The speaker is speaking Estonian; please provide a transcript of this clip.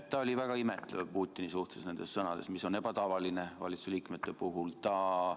Ta oli nendes sõnades väga imetlev Putini suhtes, mis on valitsuse liikmete puhul ebatavaline.